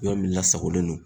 Yɔrɔ min lasagolen non.